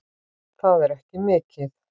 Það er ekki mikið